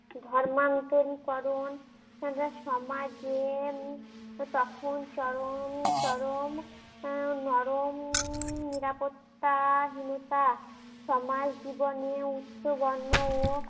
ধর্মান্তরি করন সমাজে উম তখন চরম চরম উম নরম উম নিরাপত্তাহীনতা সমাজ জীবনে উচ্চ বর্ণ ও